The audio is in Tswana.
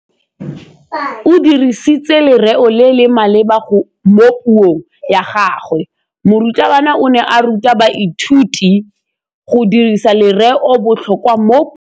O dirisitse lerêo le le maleba mo puông ya gagwe. Morutabana o ne a ruta baithuti go dirisa lêrêôbotlhôkwa mo puong.